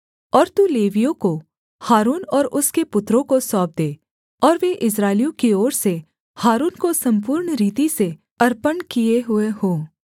और तू लेवियों को हारून और उसके पुत्रों को सौंप दे और वे इस्राएलियों की ओर से हारून को सम्पूर्ण रीति से अर्पण किए हुए हों